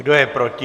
Kdo je proti?